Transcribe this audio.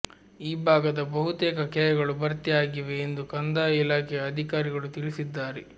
ಈ ಭಾಗದ ಬಹುತೇಕ ಕೆರೆಗಳು ಭರ್ತಿ ಆಗಿವೆ ಎಂದು ಕಂದಾಯ ಇಲಾಖೆಯ ಅಧಿಕಾರಿಗಳು ತಿಳಿಸಿದ್ದಾರೆ